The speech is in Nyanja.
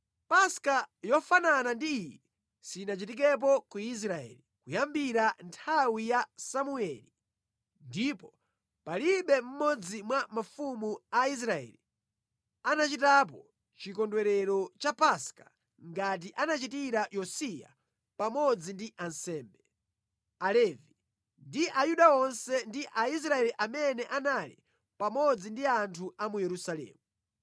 Paska yofanana ndi iyi sinachitikepo ku Israeli kuyambira nthawi ya Samueli ndipo palibe mmodzi mwa mafumu a Israeli anachitapo chikondwerero cha Paska ngati anachitira Yosiya pamodzi ndi ansembe, Alevi ndi Ayuda onse ndi Aisraeli amene anali pamodzi ndi anthu a mu Yerusalemu.